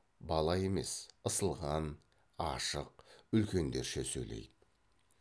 бала емес ысылған ашық үлкендерше сөйлейді